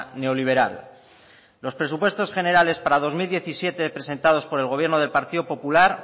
neoliberal los presupuestos generales para el dos mil diecisiete presentados por el gobierno del partido popular